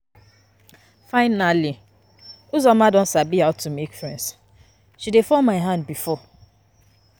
Finally Uzoma don sabi how to make make friends, she dey fall my hand before